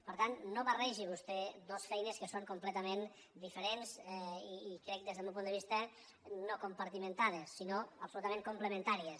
per tant no barregi vostè dos feines que són comple·tament diferents i crec des del meu punt de vista no compartimentades sinó absolutament complementà·ries